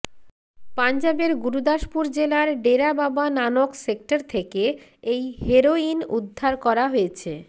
পাঞ্জাবের গুরুদাসপুর জেলার ডেরা বাবা নানক সেক্টর থেকে এই হেরোইন উদ্ধার করা হয়েছে